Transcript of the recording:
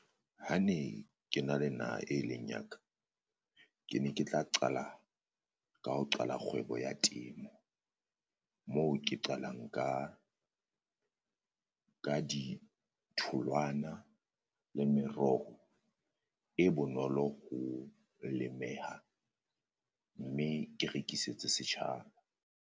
Ha ne ke na le naha e leng ya ka, ke ne ke tla qala ka ho qala kgwebo ya temo moo ke qalang ka ka ditholwana le meroho e bonolo ho lemeha, mme ke rekisetse setjhaba.